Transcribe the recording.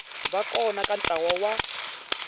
va kona ka ntlawa wa